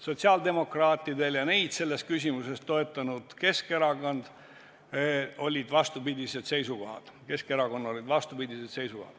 Sotsiaaldemokraatidel ja neid selles küsimuses toetanud Keskerakonnal olid vastupidised seisukohad.